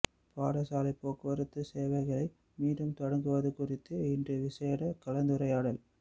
பாடசாலை போக்குவரத்து சேவைகளை மீண்டும் தொடங்குவது குறித்து இன்று விசேட கலந்துரையாடல்